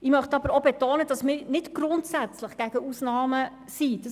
Ich möchte aber betonen, dass wir nicht grundsätzlich gegen Ausnahmen sind.